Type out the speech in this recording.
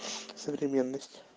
современность